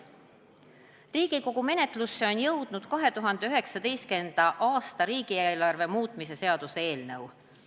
"Riigikogu menetlusse on jõudnud 2019. a riigeelarve muutmise seaduse eelnõu.